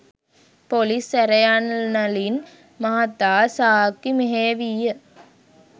Police සැරයන්නලින් මහතා සාක්කි මෙහෙයවීය.